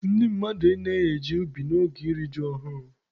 Ndị mmadụ anaghị eje ubi n'oge iri ji ọhụrụ.